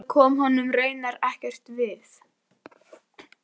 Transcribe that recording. Þetta kom honum raunar ekkert við.